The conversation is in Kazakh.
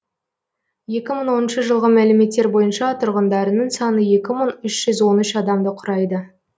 екі мың оныншы жылғы мәліметтер бойынша тұрғындарының саны екі мың үш жүз он үш адамды құрайды